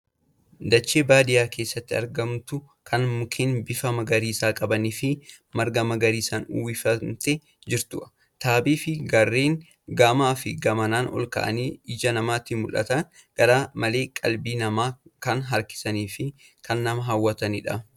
Dachee baadiyaa keessatti argamtu kan mukeen bifa magariisa qabanii fi marga magariisaan uwwifamtee jirtu. Tabbii fi gaarreen gamaa fi gamanaan olka'anii ija namaatti mul'atan gar-malee qalbii namaa kan harkisaniifi kan nama hawwatanidha.